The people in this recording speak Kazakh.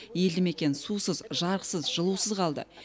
елді мекен сусыз жарықсыз жылусыз қалды